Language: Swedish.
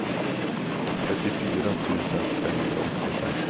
trettiofyra tusen femhundraåttiofem